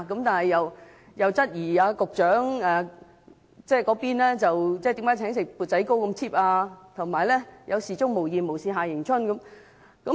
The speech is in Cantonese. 但她質疑局長只是請吃"砵仔糕"那麼失禮，給人"有事鍾無艷，無事夏迎春"的感覺。